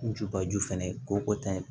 Njubaju fɛnɛ ko tan